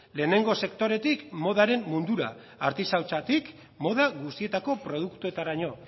lehenengo sektoretik modaren mundura artisautzatik moda guztietako produktuetaraino